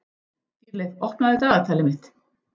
Dýrleif, opnaðu dagatalið mitt.